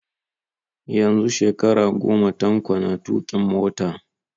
Yanzu shekara goma Tanko na tuƙin mota